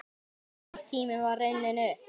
Nýr tími var runninn upp.